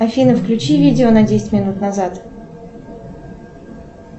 афина включи видео на десять минут назад